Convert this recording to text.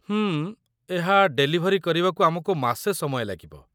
ହୁଁ, ଏହା ଡେଲିଭେରୀ କରିବାକୁ ଆମକୁ ମାସେ ସମୟ ଲାଗିବ।